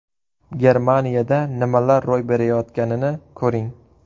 Germaniyada nimalar ro‘y berayotganini ko‘ring.